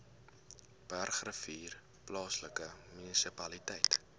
bergrivier plaaslike munisipaliteit